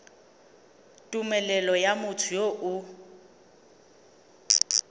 tumelelo ya motho yo o